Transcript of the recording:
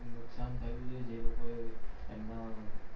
નુકશાન થયું છે જે લોકો એ એમના